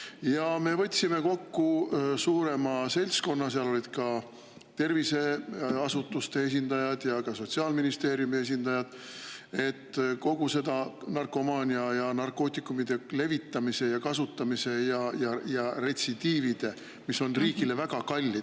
Ja me võtsime kokku suurema seltskonna – seal olid ka terviseasutuste esindajad ja Sotsiaalministeeriumi esindajad –, et kogu seda narkomaaniat ja narkootikumide levitamist ja kasutamist ja retsidiive, mis on riigile väga kallis.